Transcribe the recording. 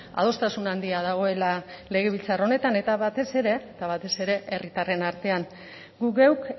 adostasun handia dagoela legebiltzar honetan eta batez ere batez ere herritarren artean gu geuk